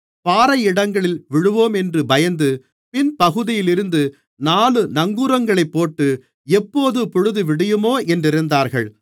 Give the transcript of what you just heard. பாறையிடங்களில் விழுவோமென்று பயந்து பின் பகுதியிலிருந்து நாலு நங்கூரங்களைப்போட்டு எப்போது பொழுதுவிடியுமோ என்றிருந்தார்கள்